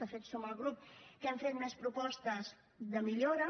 de fet som el grup que hem fet més propostes de millora